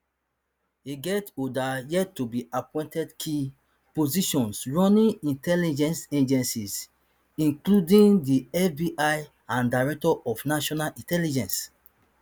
e get oda yettobeappointed key positions running intelligence agencies including the fbi and director of national intelligence